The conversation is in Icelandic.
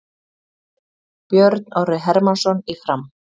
Björn Orri Hermannsson í Fram